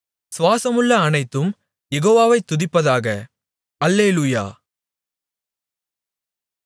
சுவாசமுள்ள அனைத்தும் யெகோவாவை துதிப்பதாக அல்லேலூயா